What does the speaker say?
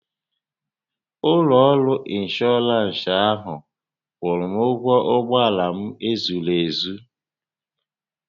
Ụlọ ọrụ ịnshọọransị ahụ kwụrụ m ụgwọ ụgbọala m e zuru n'ohi